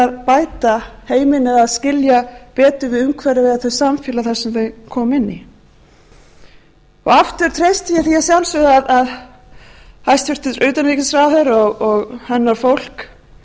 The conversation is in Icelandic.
bæta heiminn eða skilja betur við umhverfið eða það samfélag sem þau koma inn í aftur treysti ég því að sjálfsögðu að hæstvirtur utanríkisráðherra og hennar fólk